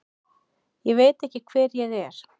Ég veit ekki hver ég er.